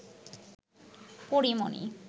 পরী মণি